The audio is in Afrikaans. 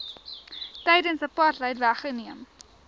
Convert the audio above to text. tydens apartheid weggeneem